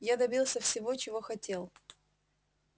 я добился всего чего хотел